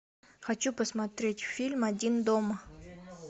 хочу посмотреть фильм один дома